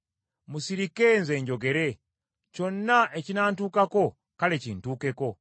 Musirike nze njogere; kyonna ekinantukako kale kintuukeko.